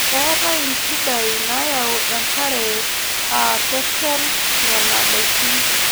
Keetae nchidai naayau enkare aa keshol Nena daikin.